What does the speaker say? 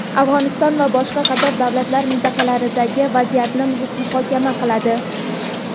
Afg‘oniston va boshqa qator davlat va mintaqalardagi vaziyatni muhokama qiladi.